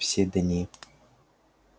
все дни